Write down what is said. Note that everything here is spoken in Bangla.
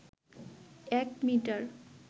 এক মিটার